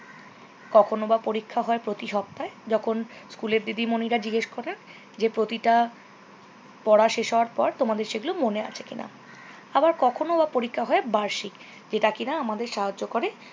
কখন বা পরীক্ষা হয় প্রতি সপ্তাহে জখন স্কুলের দিদিমনিরা জিজ্ঞেস করে যে প্রতিটা পড়া শেষ হওয়ার পর তোমাদের সেগুলো মনে আছে কিনা। আবার কখনও বা পরীক্ষা হয় বার্ষিক যেটা কিনা আমাদের সাহাজ্য করে